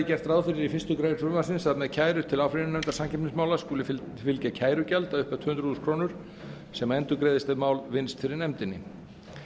gert ráð fyrir í fyrstu grein frumvarpsins að með kæru til áfrýjunarnefndar samkeppnismála skuli fylgja kærugjald að upphæð tvö hundruð þúsund krónur sem endurgreiðist ef mál vinnst fyrir nefndinni